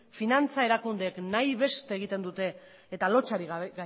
finantza erakundeek nahi beste egiten dute eta lotsarik